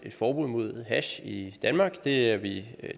forbud mod hash i danmark det er vi